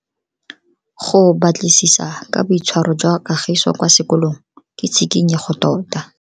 Go batlisisa ka boitshwaro jwa Kagiso kwa sekolong ke tshikinyego tota.